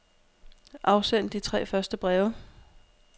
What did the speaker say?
Afsend de tre første breve.